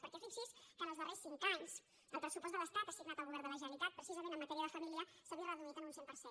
perquè fixi’s que els darrers cinc anys el pressupost de l’estat assignat al govern de la generalitat precisament en matèria de família s’ha vist reduït en un cent per cent